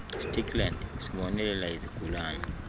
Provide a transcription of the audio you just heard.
stikland sibonelela izigulane